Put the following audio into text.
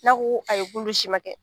N'a ko ko ayi k'olu si ma kɛ.